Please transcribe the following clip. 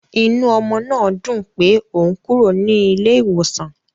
Inú ọmọ náà dùn pé òun kúrò ní ilé iwosan.